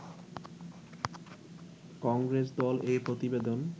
কংগ্রেস দল এই প্রতিবেদন